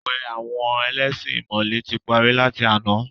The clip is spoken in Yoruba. Àwẹ̀ àwọn ẹlẹ́ṣin ìmọ̀le tí parí láti àná.